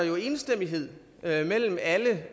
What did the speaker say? jo enstemmighed blandt alle